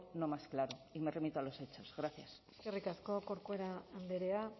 no más claro y me remito a los hechos gracias eskerrik asko corcuera andrea